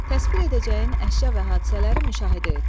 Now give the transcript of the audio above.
Təsvir edəcəyin əşya və hadisələri müşahidə et.